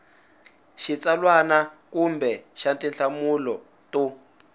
xitsalwana kumbe xa tinhlamulo to